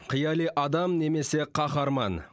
қияли адам немесе қаһарман